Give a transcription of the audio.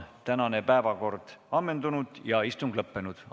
Tänane päevakord on ammendunud ja istung lõppenud.